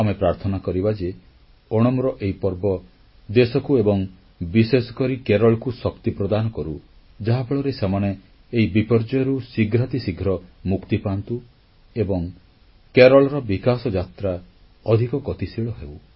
ଆମେ ପ୍ରାର୍ଥନା କରିବା ଯେ ଓଣମ୍ ପର୍ବ ଦେଶକୁ ଏବଂ ବିଶେଷକରି କେରଳକୁ ଶକ୍ତି ପ୍ରଦାନ କରୁ ଯାହାଫଳରେ ସେମାନେ ଏହି ବିପର୍ଯ୍ୟୟରୁ ଶୀଘ୍ରାତିଶୀଘ୍ର ମୁକ୍ତି ପାଆନ୍ତୁ ଏବଂ କେରଳର ବିକାଶ ଯାତ୍ରା ଅଧିକ ଗତିଶୀଳ ହେଉ